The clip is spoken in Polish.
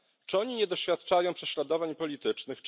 Czy oni nie doświadczają prześladowań politycznych?